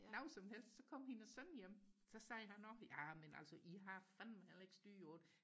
noget som helst så kom hendes søn hjem så sagde han også ja men altså i har fandme heller ikke styr på det